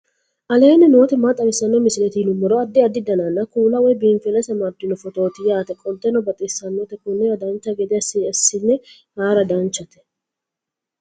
aleenni nooti maa xawisanno misileeti yinummoro addi addi dananna kuula woy biinsille amaddino footooti yaate qoltenno baxissannote konnira dancha gede assine haara danchate